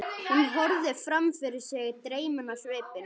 Hún horfði fram fyrir sig, dreymin á svipinn.